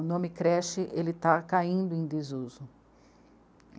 O nome creche está caindo em desuso.